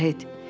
Şahid.